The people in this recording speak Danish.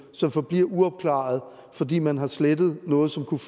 som forbliver uopklarede fordi man har slettet noget som kunne